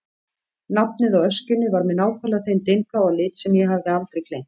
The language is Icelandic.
Nafnið á öskjunni var með nákvæmlega þeim dimmbláa lit sem ég hafði aldrei gleymt.